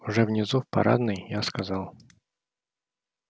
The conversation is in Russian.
уже внизу в парадной я сказал